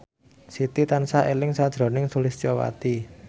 Siti tansah eling sakjroning Sulistyowati